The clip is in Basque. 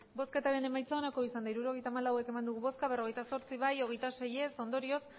hirurogeita hamalau eman dugu bozka berrogeita zortzi bai hogeita sei ez ondorioz